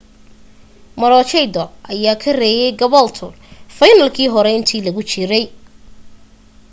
maroochydore ayaa ka reeyay caboolture fiinaalkii hore inta lagu jiray